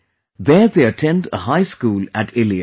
There they attend a High School at Illia